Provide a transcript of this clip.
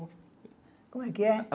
Como é que é?